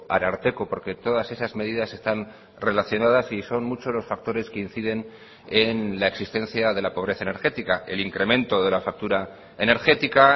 ararteko porque todas esas medidas están relacionadas y son muchos los factores que inciden en la existencia de la pobreza energética el incremento de la factura energética